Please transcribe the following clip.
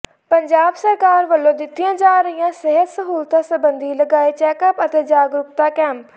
ਪੰਜਾਬ ਸਰਕਾਰ ਵੱਲੋਂ ਦਿੱਤੀਆਂ ਜਾ ਰਹੀਆਂ ਸਿਹਤ ਸਹੂਲਤਾਂ ਸੰਬੰਧੀ ਲਗਾਏ ਚੈਕਅੱਪ ਅਤੇ ਜਾਗਰੂਕਤਾ ਕੈਂਪ